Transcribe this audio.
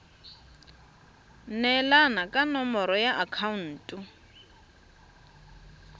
neelana ka nomoro ya akhaonto